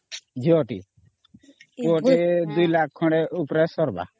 ଝିଅ ଟି ପୁଅଟି 2 Lakh ଉପରେ ସରବା